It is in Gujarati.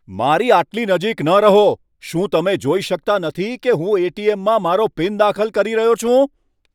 મારી આટલી નજીક ન રહો! શું તમે જોઈ શકતા નથી કે હું એટીએમમાં મારો પીન દાખલ કરી રહ્યો છું?